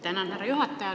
Tänan, härra juhataja!